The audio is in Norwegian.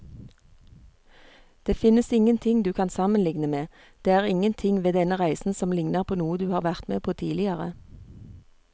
Det finnes ingenting du kan sammenligne med, det er ingenting ved denne reisen som ligner på noe du har vært med på tidligere.